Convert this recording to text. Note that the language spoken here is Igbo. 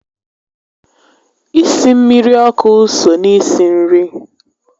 Isi mmiri ọkụ so na isi nri